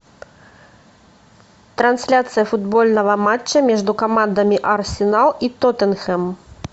трансляция футбольного матча между командами арсенал и тоттенхэм